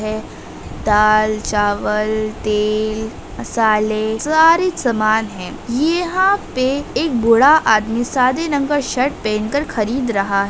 है दाल चावल तेल मसाले सारे सामान हैं यहाँ पे एक बूढ़ा आदमी सादे रंग का शर्ट पहनकर खरीद रहा --